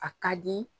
A ka di